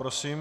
Prosím.